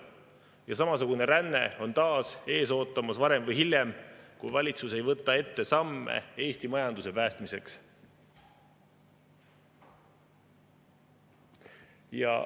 Ja samasugune ränne on taas ees ootamas varem või hiljem, kui valitsus ei võta ette samme Eesti majanduse päästmiseks.